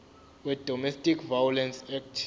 wedomestic violence act